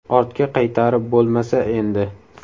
Ortga qaytarib bo‘lmasa endi!”.